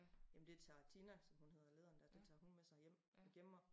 Jamen det tager Tina som hun hedder lederen dér det tager hun med sig hjem og gemmer